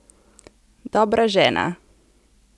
Dobra žena!